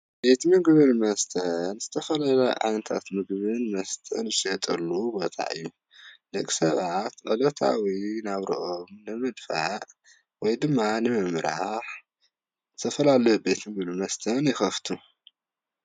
ቤት ምግብን መስተን ዝተፈላለዩ ዓይነታት ምግብን መስተን ዝሽየጠሉ ቦታ እዩ ፤ደቂ ሰባት ዕለታዊ ናብርኦም ንምድፋእ ወይ ድማ ንምምራሕ ዝተፈላለዩ ቤት ምግብን መስተን ይኸፍቱ።